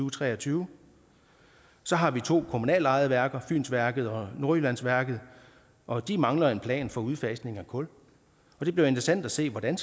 og tre og tyve så har vi to kommunalt ejede værker fynsværket og nordjyllandsværket og de mangler en plan for udfasning af kul det bliver interessant at se hvordan